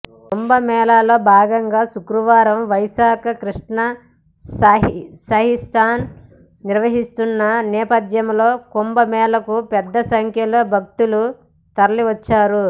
కుంభమేళాలో భాగంగా శుక్రవారం వైశాఖ కృష్ణ షాహీ స్నాన్ నిర్వహించనున్న నేపథ్యంలో కుంభమేళాకు పెద్దసంఖ్యలో భక్తులు తరలివచ్చారు